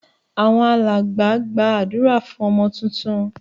Àwọn alàgbà gba àdúrá fún ọmọ titun